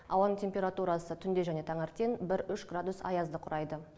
ауаның температурасы түнде және таңертең бір үш градус аязды құрайды